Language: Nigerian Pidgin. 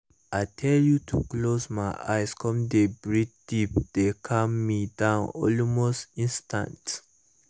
i tell you to close my eyes come dey breathe deep dey calm me down almost instanta